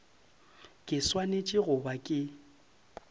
ke swanetše go ba ke